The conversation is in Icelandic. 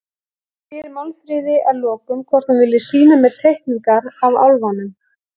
Ég spyr Málfríði að lokum hvort hún vilji sýna mér teikningar af álfunum.